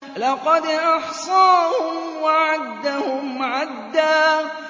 لَّقَدْ أَحْصَاهُمْ وَعَدَّهُمْ عَدًّا